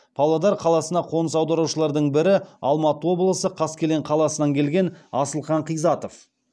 павлодар қаласына қоныс аударушылардың бірі алматы облысы қаскелең қаласынан келген асылқан қизатов